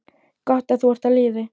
Gott að þú ert á lífi.